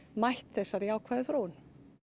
mætt þessari jákvæðu þróun